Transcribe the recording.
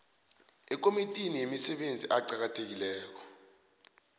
ekomitini yemisebenzi eqakathekileko